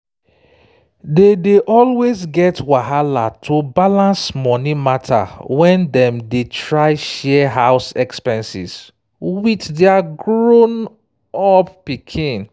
dem dey always get wahala to balance money matter when dem dey try share house expenses with their grown-up pikin